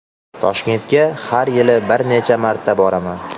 Toshkentga har yili bir necha marta boraman.